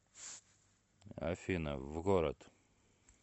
афина в город